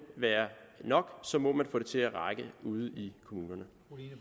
være nok og så må man få det til at række ude i kommunerne